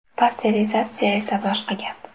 Pasterizatsiya esa boshqa gap.